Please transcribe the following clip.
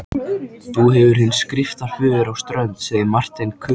Þú hefur þinn skriftaföður á Strönd, sagði Marteinn kuldalega.